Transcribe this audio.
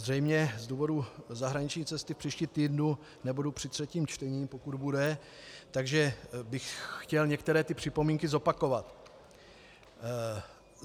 Zřejmě z důvodu zahraniční cesty v příštím týdnu nebudu při třetím čtení, pokud bude, takže bych chtěl některé ty připomínky zopakovat.